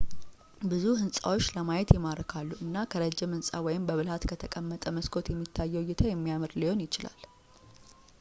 ብዙ ህንፃዎች ለማየት ይማርካሉ እና ከረጅም ህንፃ ወይም በብልሃት ከተቀመጠ መስኮት የሚታየው እይታ የሚያምር ሊሆን ይችላል